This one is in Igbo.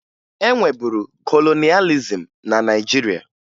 E nweburu kolonịalịzim na Naịjirịa